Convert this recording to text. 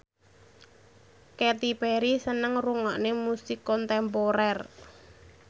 Katy Perry seneng ngrungokne musik kontemporer